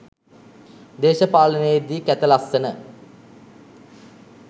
දේශපාලනයේදි කැත ලස්සන